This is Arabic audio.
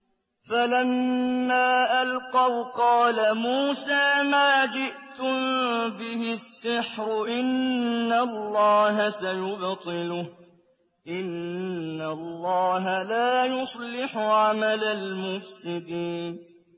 فَلَمَّا أَلْقَوْا قَالَ مُوسَىٰ مَا جِئْتُم بِهِ السِّحْرُ ۖ إِنَّ اللَّهَ سَيُبْطِلُهُ ۖ إِنَّ اللَّهَ لَا يُصْلِحُ عَمَلَ الْمُفْسِدِينَ